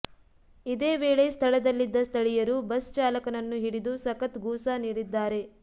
ಇದೇ ವೇಳೆ ಸ್ಥಳದಲ್ಲಿದ್ದ ಸ್ಥಳೀಯರು ಬಸ್ ಚಾಲಕನನ್ನು ಹಿಡಿದು ಸಖತ್ ಗೂಸ ನೀಡಿದ್ದಾರೆ